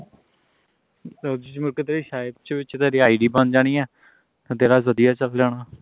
ਚ ਕਿਤੇ sahib ਚ ਤੁਹਾਡੀ id ਬਣ ਜਾਣੀਆਂ ਅੱਗੇ ਵਧੀਆ ਚਲ ਜਾਣਾ